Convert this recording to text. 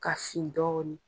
Ka fin dɔɔnin .